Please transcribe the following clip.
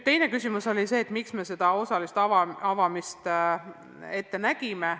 Teine küsimus oli selle kohta, miks me koolide osalise avamise ette nägime.